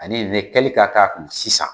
Ani nin ne kɛli ka k'a kun sisan.